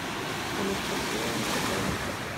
анастасия лапшова